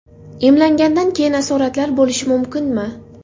Emlangandan keyin asoratlar bo‘lishi mumkinmi?